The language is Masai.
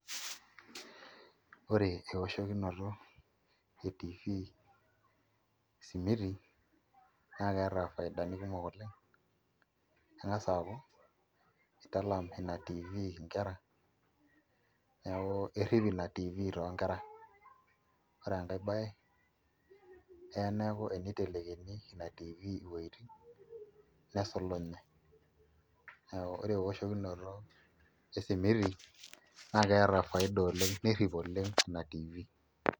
Ore eoshokinoto e TV esimiti naa keeta ifaidani kumok oleng' eng'as aaku italam ina TV inkera, neeku irrip ina TV toonkera ore enkae baye eya neeku teniteleikini ina TV iweujitin nesulunye neeku ore eoshokinoto e simiti naa keeta faida oleng' nerrip oleng' ina TV.